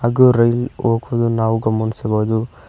ಹಾಗು ರೈಲ್ ಹೋಗೋದು ನಾವು ಗಮನಿಸಬಹುದು.